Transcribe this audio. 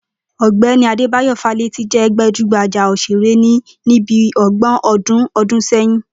Ò̩gbé̩ni Adébáyò Fálétí jé̩ gbajúgbajá òs̩èré ní bí o̩gbò̩n o̩dún sé̩yìn